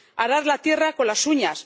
arar la tierra con las uñas